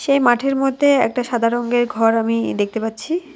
সেই মাঠের মধ্যে একটা সাদা রঙ্গের ঘর আমি দেখতে পাচ্ছি।